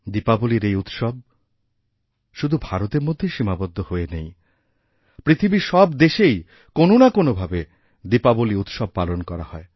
দীপাবলীর এই উৎসবশুধু ভারতের মধ্যেই সীমাবদ্ধ হয়ে নেই পৃথিবীর সব দেশেই কোনও না কোনও ভাবে দীপাবলীউৎসব পালন করা হয়